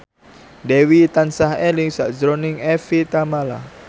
Dewi tansah eling sakjroning Evie Tamala